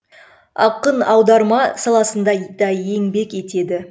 ақын аударма саласында да еңбек етеді